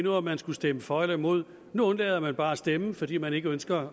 af om man skulle stemme for eller imod nu undlader man bare at stemme fordi man ikke ønsker